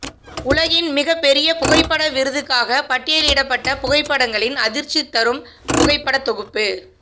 உலகின் மிக பெரிய புகைப்பட விருதுக்காக பட்டியலிடப்பட்ட புகைப்படங்களின் அதிர்ச்சிதரும் புகைபடத்தொகுப்பு